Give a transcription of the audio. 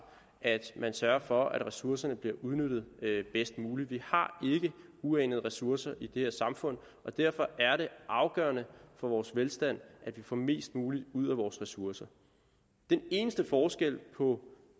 at man sørger for at ressourcerne bliver udnyttet bedst muligt vi har ikke uanede ressourcer i det her samfund og derfor er det afgørende for vores velstand at vi får mest muligt ud af vores ressourcer den eneste forskel på